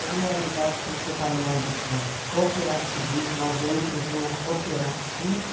Na realidade, quando você está num mundo de cooperativismo ou dentro de uma cooperativa,